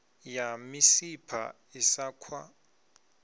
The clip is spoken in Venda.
ya misipha i sa khwa